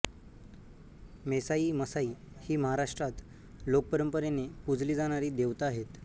मेसाई मसाई हि महाराष्ट्रात लोकपरंपरेने पुजली जाणारी देवता आहे